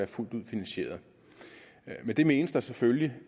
fuldt ud finansieret med det menes der selvfølgelig